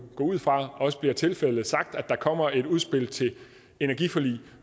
ud fra også bliver tilfældet sagt at der kommer et udspil til energiforlig